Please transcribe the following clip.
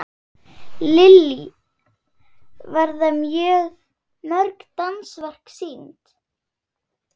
Lillý, verða mörg dansverk sýnd?